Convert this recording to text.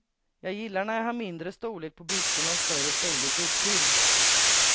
Jag gillar när jag har mindre storlek på byxorna och större storlek upptill.